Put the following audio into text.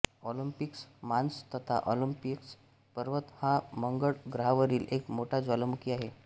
Olympus Mons तथा Olympus पर्वत हा मंगळ ग्रहावरील एक मोठा ज्वालामुखी आहे